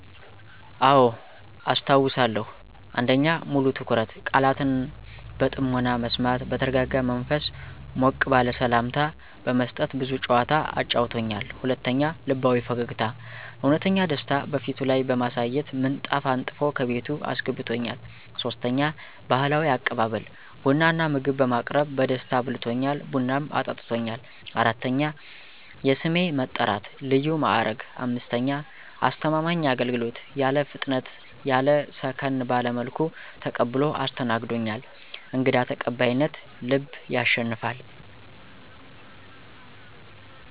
**አዎ፣ አስታውሳለሁ!** 1. **ሙሉ ትኩረት** - ቃላትን በጥሞና መስማት በተረጋጋ መንፈስ ሞቅ ባለ ሠላምታ በመስጠት ብዙ ጨዋታ አጫውቶኛል። 2. **ልባዊ ፈገግታ** - እውነተኛ ደስታ በፊቱ ላይ በማሳየት ምንጣፍ አንጥፎ ከቤቱ አስገብቶኛል። 3. **ባህላዊ አቀባበል** - ቡና እና ምግብ በማቅረብ በደስታ አብልቶኛል፣ ቡናም አጠጥቶኛል። 4. **የስሜ መጥራት** - ልዩ ማድረግ 5. **አስተማማኝ አገልግሎት** - ያለ ፍጥነት ያለ ሰከን ባለ መልኩ ተቀብሎ አስተናግዶኛል። > _"እንግዳ ተቀባይነት ልብ ያሸንፋል!"_